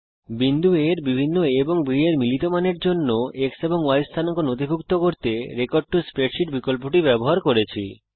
বিন্দু A এর বিভিন্ন a এবং b এর মিলিত মানের জন্য x এবং y স্থানাঙ্ক নথিভুক্ত করতে রেকর্ড টো স্প্রেডশীট বিকল্পটি ব্যবহার করছি